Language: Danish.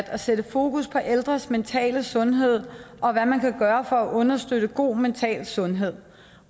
at sætte fokus på ældres mentale sundhed og hvad man kan gøre for at understøtte god mental sundhed